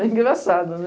Bem engraçado, né?